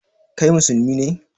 Kai musulmi ne?